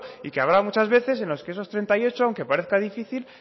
y que habrá muchas veces en los que esos treinta y ocho aunque parezca difícil